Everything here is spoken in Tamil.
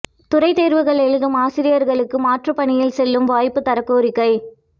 துறைத் தோ்வுகள் எழுதும் ஆசிரியா்களுக்கு மாற்றுப் பணியில் செல்லும் வாய்ப்பு தரக் கோரிக்கை